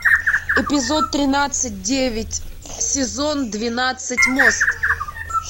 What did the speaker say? эпизод тринадцать девять сезон двенадцать мост